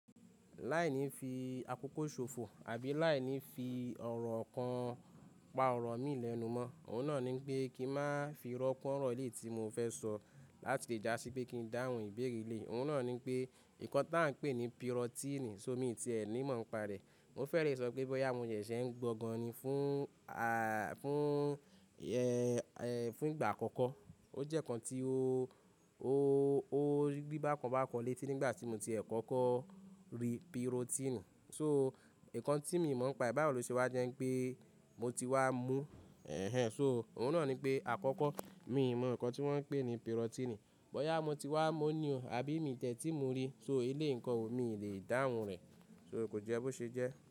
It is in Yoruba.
Láìní fi àkókò ṣòfò àbí láìní fi ọ̀rọ̀ kan pa ọ̀rọ̀ mi lẹ́nu mọ́, òun náà ní pé kí n má fi rọ́pò ọ̀rọ̀ ilé tí mo fẹ́ sọ láti lè já sí pé kí n dáhùn ìbéèrè ilé. Òun náà ní pé, ǹkan tí à ń pè ní pirotíìnì, so mi tí ẹ ní mọ̀ ń pa rẹ̀. Mo fẹ́rẹ̀ẹ́ sọ pé bọ́yá mo ṣẹ̀ṣẹ̀ ń gbọ́gan ni fún ìgbà àkọ́kọ́. O jẹ́ ǹkan tí o gbígbá kan bákan létí nígbà tí mo ti ẹ̀kọ́ kó rí pirotíìnì. So, ǹkan tí mo mọ̀ ń pa ìbá òluṣewá jẹ́ pé mo ti wá mú, ẹhn. So, òun náà ní pé àkọ́kọ́ mi mọ̀ ǹkan tí wọ́n ń pè ní pirotíìnì. Bọ́yá mo ti wá mo ní o àbí mi tẹ́tí mo rí, so ilé ǹkan ò mi le dáhùn rẹ̀, so kò jẹ́ bó ṣe jẹ́.